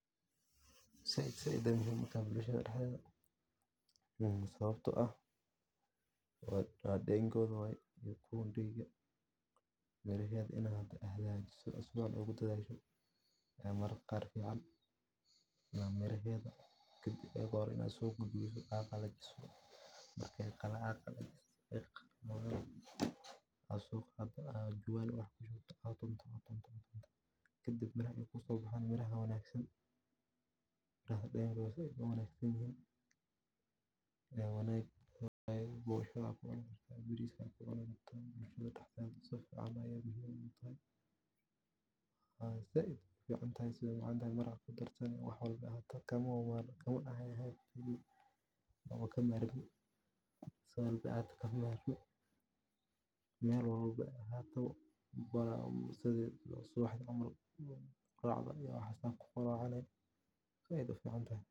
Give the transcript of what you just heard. Zaid waye dadeda Sidoo kale, adeegsiga adeeg wanaagsan oo macaamiisha si wanaagsan loola dhaqmo waa furaha miro dhalka ganacsiga. Qiimaha macquulka ah iyo tayada wanaagsan ee alaabta la iibinayo waxay dadka ku dhiirrigelinayaan inay marar badan soo noqdaan. Ugu dambayn, dulqaadka iyo joogtaynta ayaa muhiim ah – ganacsigu ma kobco habeen qura, balse dadaal joogto ah ayuu u baahan yahay si uu miro dhadhan leh u siiyo ganacsadihii bilaabay.